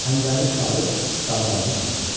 Xəncərini çıxarıb qandalını kəsir.